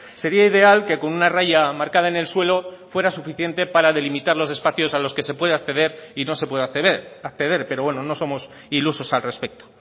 sería ideal que con una raya marcada en el suelo fuera suficiente para delimitar los espacios a los que se puede acceder y no se puede acceder pero bueno no somos ilusos al respecto